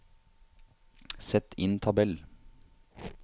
Sett inn tabell